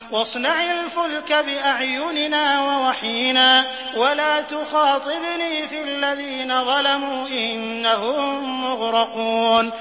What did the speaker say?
وَاصْنَعِ الْفُلْكَ بِأَعْيُنِنَا وَوَحْيِنَا وَلَا تُخَاطِبْنِي فِي الَّذِينَ ظَلَمُوا ۚ إِنَّهُم مُّغْرَقُونَ